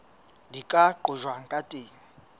di ka qojwang ka teng